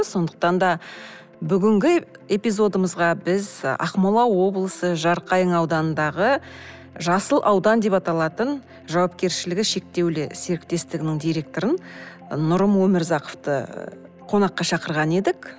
сондықтан да бүгінгі эпизодымызға біз ақмолла облысы жарқайың ауданындағы жасыл аудан деп аталатын жауапкершілігі шектеулі серіктестігінің директорын нұрым өмірзақовты қонаққа шақырған едік